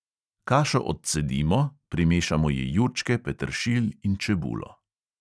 Kašo odcedimo, primešamo ji jurčke, peteršilj in čebulo.